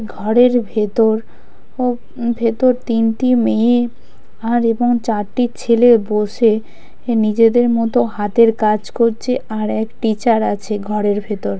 ঘরের ভেতর ও উম ভেতর তিনটি মেয়ে আর এবং চারটি ছেলে বসে নিজেদের মতো হাতের কাজ করছে আর এক টিচার আছে ঘরের ভেতর।